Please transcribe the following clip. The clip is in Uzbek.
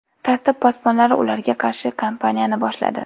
Tartib posbonlari ularga qarshi kampaniyani boshladi.